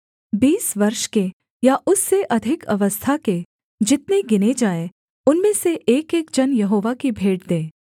बीस वर्ष के या उससे अधिक अवस्था के जितने गिने जाएँ उनमें से एकएक जन यहोवा की भेंट दे